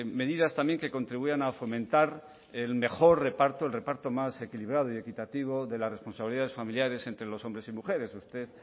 medidas también que contribuyan a fomentar el mejor reparto el reparto más equilibrado y equitativo de las responsabilidades familiares entre los hombres y mujeres usted